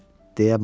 Ölüb?